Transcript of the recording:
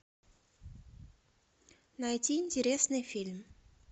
найти интересный фильм